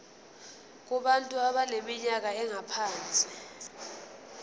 kubantu abaneminyaka engaphansi